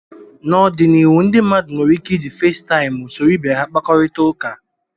N'ọdịnihu ndị mmadụ nwere ike iji Festaịmụ soro ibe ha kpakọrịta ụka